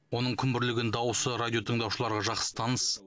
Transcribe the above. оның күмбірлеген дауысы радиотыңдаушыларға жақсы таныс